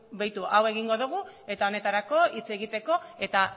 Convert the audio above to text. begiratu hau egingo dugu eta honetarako hitz egiteko eta